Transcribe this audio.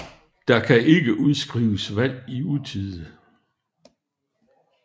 Der kan ikke udskrives valg i utide